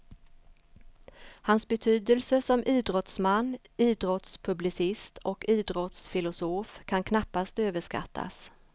Hans betydelse som idrottsman, idrottspublicist och idrottsfilosof kan knappast överskattas.